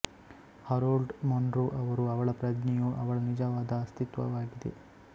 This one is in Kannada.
ಹರೋಲ್ಡ್ ಮನ್ರೋ ಅವರು ಅವಳ ಪ್ರಜ್ಞೆಯು ಅವಳ ನಿಜವಾದ ಅಸ್ತಿತ್ವವಾಗಿದೆ